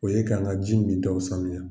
O ye k'an ka ji min taw saniya.